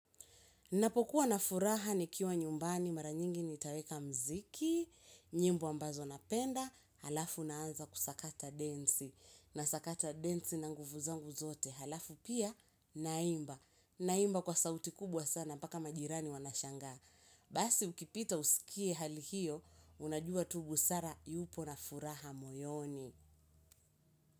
Ninapokuwa na furaha nikiwa nyumbani mara nyingi nitaweka muziki, nyimbo ambazo napenda, halafu naanza kusakata densi, nasakata densi na nguvu zangu zote, halafu pia naimba. Naimba kwa sauti kubwa sana, mpaka majirani wanashangaa. Basi ukipita usikie hali hiyo, unajua tu busara yupo na furaha moyoni.